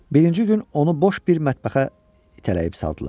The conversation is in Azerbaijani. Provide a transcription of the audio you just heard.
Birinci gün onu boş bir mətbəxə itələyib saldılar.